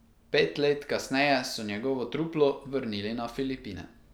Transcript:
Pet let kasneje so njegovo truplo vrnili na Filipine.